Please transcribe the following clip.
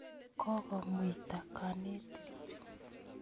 Kokomuita kanetik chu